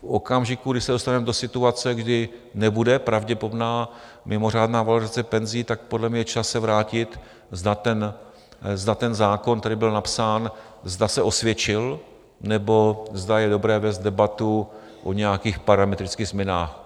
V okamžiku, kdy se dostaneme do situace, kdy nebude pravděpodobná mimořádná valorizace penzí, tak podle mě je čas se vrátit, zda ten zákon, který byl napsán, zda se osvědčil, nebo zda je dobré vést debatu o nějakých parametrických změnách.